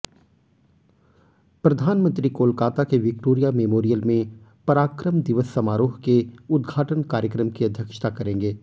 प्रधानमंत्री कोलकाता के Victoria memorial में पराक्रम दिवस समारोह के उद्घाटन कार्यक्रम की अध्यक्षता करेंगे